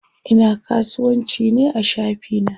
Ina kasuwanci ne a shafi na.